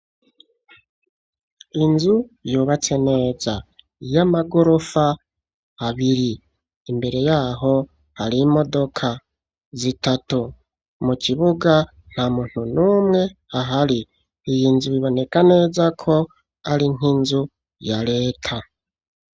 Inzu yubatse neza y'amagorofa abiri imbere yaho hari imodoka zitatu mu kibuga nta muntu n'umwe ahari iyi nzu biboneka neza ko ari nk'inzu ya reta.